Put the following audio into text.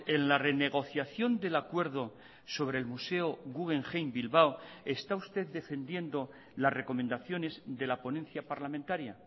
en la renegociación del acuerdo sobre el museo guggenheim bilbao está usted defendiendo las recomendaciones de la ponencia parlamentaria